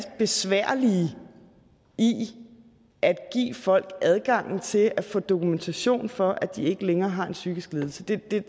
besværlige i at give folk adgangen til at få dokumentation for at de ikke længere har en psykisk lidelse det er